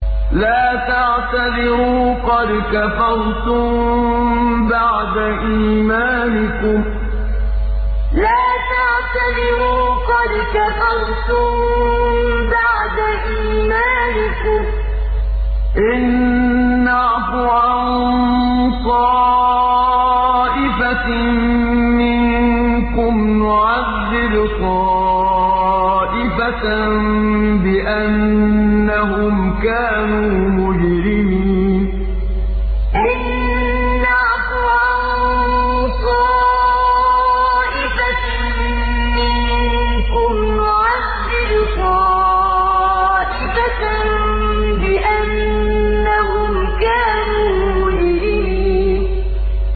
لَا تَعْتَذِرُوا قَدْ كَفَرْتُم بَعْدَ إِيمَانِكُمْ ۚ إِن نَّعْفُ عَن طَائِفَةٍ مِّنكُمْ نُعَذِّبْ طَائِفَةً بِأَنَّهُمْ كَانُوا مُجْرِمِينَ لَا تَعْتَذِرُوا قَدْ كَفَرْتُم بَعْدَ إِيمَانِكُمْ ۚ إِن نَّعْفُ عَن طَائِفَةٍ مِّنكُمْ نُعَذِّبْ طَائِفَةً بِأَنَّهُمْ كَانُوا مُجْرِمِينَ